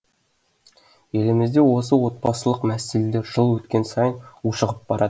елімізде осы отбасылық мәселелер жыл өткен сайын ушығып барады